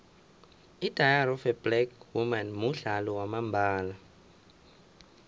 idairy of black women mudlalo wamambala